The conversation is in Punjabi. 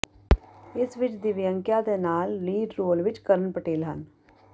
ਇਸ ਵਿੱਚ ਦਿਵਿਯੰਕਾ ਦੇ ਨਾਲ ਲੀਡ ਰੋਲ ਵਿੱਚ ਕਰਣ ਪਟੇਲ ਹਨ